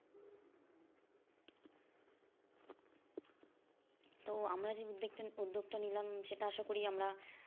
তো আমরা যে উদ্যোগ টা নিলাম সেটা আসা করি আমরা